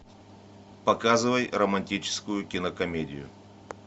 показывай романтическую кинокомедию